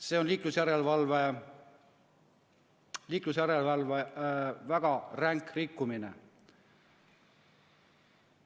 See on liiklusjärelevalve väga ränk rikkumine.